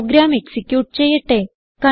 programme execute ചെയ്യട്ടെ